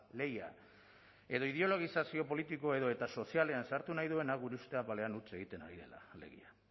lehia edo ideologizazioa politiko edota sozialean sartu nahi duena gure uste apalean huts egiten ari dela alegia